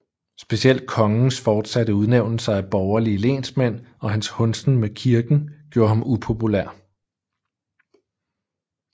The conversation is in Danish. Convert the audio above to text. Specielt kongens fortsatte udnævnelser af borgerlige lensmænd og hans hundsen med kirken gjorde ham upopulær